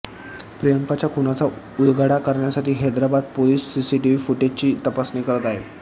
प्रियंकाच्या खूनाचा उलगडा करण्यासाठी हैदराबाद पोलिस सीसीटीव्ही फूटेजची तपासणी करत आहेत